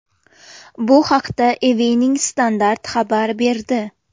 Bu haqda Evening Standart xabar berdi .